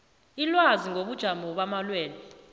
ilwazi ngobujamo bamalwelwe